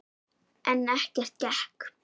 En ekkert gekk.